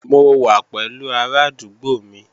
Mo wà pẹ̀lú arádúgbò mi